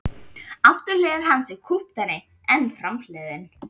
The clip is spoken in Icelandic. Afturhlið hans er kúptari en framhliðin.